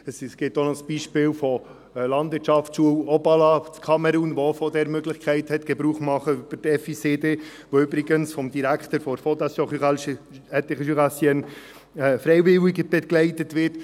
Es gibt auch noch das Beispiel der Landwirtschaftsschule Obala in Kamerun, die auch von der Möglichkeit der FICD Gebrauch machen konnte, die übrigens vom Direktor der Fondation Rurale Interjurassienne (FRI) freiwillig begleitet wird.